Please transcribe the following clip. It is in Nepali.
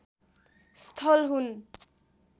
स्थल हुन्